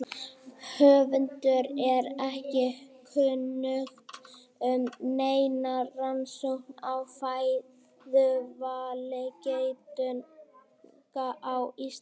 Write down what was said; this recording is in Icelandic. Höfundi er ekki kunnugt um neina rannsókn á fæðuvali geitunga á Íslandi.